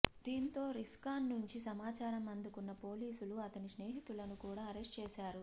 దీంతో రిస్కాన్ నుంచి సమాచారం అందుకున్న పోలీసులు అతని స్నేహితులను కూడా అరెస్ట్ చేశారు